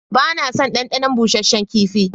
Ba na son ɗanɗanon busasshen kifi.